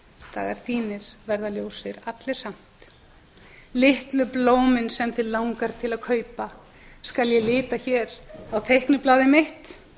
dagar þínir verða ljósir allir samt litlu blómin sem þig langar til að kaupa skal ég lita hér á teikniblaðið mitt